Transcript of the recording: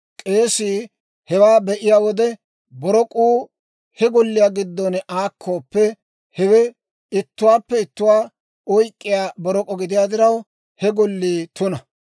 k'eesii hewaa be'iyaa wode; borok'uu he golliyaa giddon aakkooppe, hewe ittuwaappe ittuwaa oyk'k'iyaa borok'o gidiyaa diraw, he gollii tuna.